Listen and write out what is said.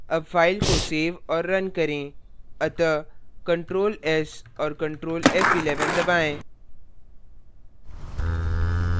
अब file को so और now करें अतः ctrl s और ctrl f11 दबाएँ